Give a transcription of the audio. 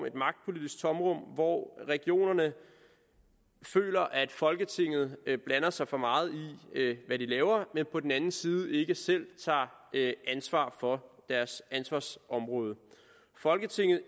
hvor regionerne føler at folketinget blander sig for meget i hvad de laver men på den anden side ikke selv tager ansvar for deres ansvarsområde folketinget